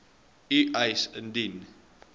u eis indien